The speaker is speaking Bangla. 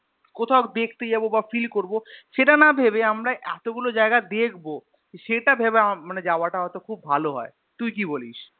কোথাও দেখতে যাবো বা Feel করবো সেটা না ভেবে আমরা এতগুলো জায়গা দেখবো সেটা ভেবে আমার মানে যাওয়াটা হয়তো খুব ভালো হয় তুই কি বলিস?